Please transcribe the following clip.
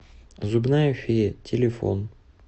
зубная фея телефон